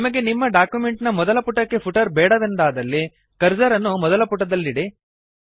ನಿಮಗೆ ನಿಮ್ಮ ಡಾಕ್ಯುಮೆಂಟ್ ನ ಮೊದಲ ಪುಟಕ್ಕೆ ಫುಟರ್ ಬೇಡವೆಂದಾದಲ್ಲಿ ಕರ್ಸರ್ ಅನ್ನು ಮೊದಲ ಪುಟದಲ್ಲಿಡಿ